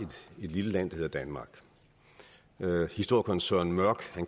lille land der hedder danmark historikeren søren mørch